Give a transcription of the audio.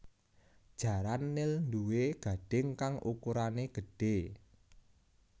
Jaran nil nduwé gadhing kang ukurané gedhé